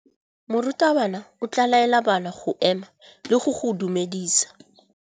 Morutabana o tla laela bana go ema le go go dumedisa.